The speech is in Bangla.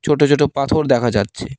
ছোট ছোট পাথর দেখা যাচ্ছে।